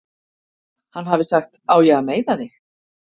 Hann hafi sagt: Á ég að meiða þig?